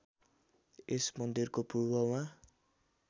यस मन्दिरको पूर्वमा